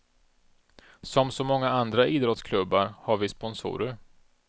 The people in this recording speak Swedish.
Som så många andra idrottsklubbar har vi sponsorer.